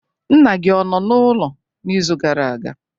Nna gị ọ nọ n'ụlọ n'izu gara aga?